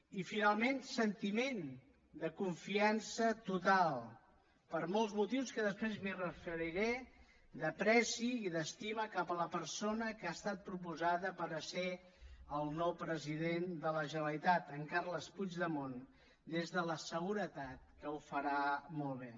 i finalment sentiment de confiança total per molts motius que després m’hi referiré d’ apreci i d’estima cap a la persona que ha estat proposada per ser el nou president de la generalitat en carles puigdemont des de la seguretat que ho farà molt bé